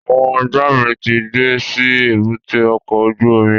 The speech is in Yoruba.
Àwọn ọjọ́ mi ti dé sí èbúté ọkọ̀ ojú omi